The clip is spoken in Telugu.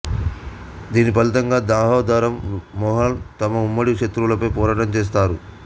దీని ఫలితంగా దామోదరం మోహణ్ తమ ఉమ్మడి శత్రువులపై పోరాటం చేస్తారు